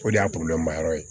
O de y'a ma yɔrɔ ye